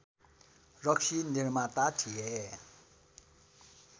रक्सी निर्माता थिए